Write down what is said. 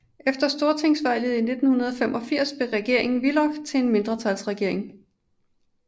Efter stortingsvalget i 1985 blev regeringen Willoch en mindretalsregering